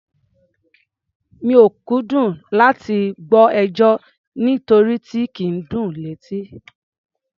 Mi ò kúndùn láti máa gbọ́ ẹjọ́, nírotí kì í dùn létí.